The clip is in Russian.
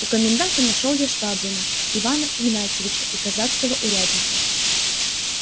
у коменданта нашёл я швабрина ивана игнатьича и казацкого урядника